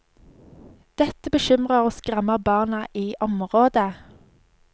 Dette bekymrer og skremmer barna i området.